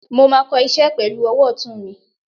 mo ma kò iṣẹ pelu owò otún mí